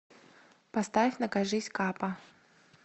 поставь накажись капа